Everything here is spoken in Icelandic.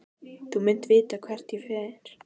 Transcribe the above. Þú munt vita hvert ég fer.